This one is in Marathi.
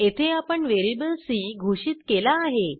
येथे आपण व्हेरिएबल सी घोषित केला आहे